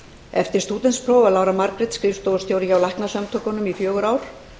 eftir stúdentspróf var lára margrét skrifstofustjóri hjá læknasamtökunum í fjögur ár